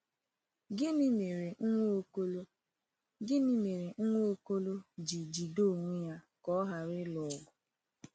Gịnị mere Nwaokolo Gịnị mere Nwaokolo ji jide onwe ya ka ọ ghara ịlụ ọgụ?